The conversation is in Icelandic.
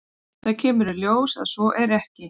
Það kemur í ljós að svo er ekki.